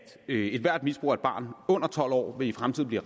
at ethvert misbrug af et barn under tolv år i fremtiden vil